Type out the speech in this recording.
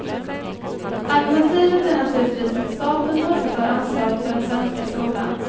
Alternativet är naturligtvis att staten återtar ansvaret för den svenska skolan.